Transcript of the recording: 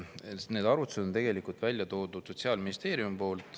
Jaa, need arvutused on tegelikult välja toonud Sotsiaalministeerium.